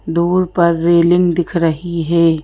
Door पर railing दिख रही है।